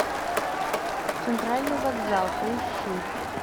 центральный вокзал поищи